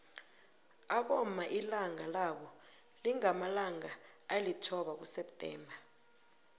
abomma ilanga labo lingamalanga alithoba kuseptember